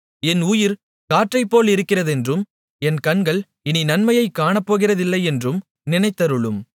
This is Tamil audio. என் உயிர் காற்றைப்போலிருக்கிறதென்றும் என் கண்கள் இனி நன்மையைக் காணப்போகிறதில்லையென்றும் நினைத்தருளும்